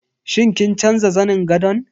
Shin kin canza zanin gadon?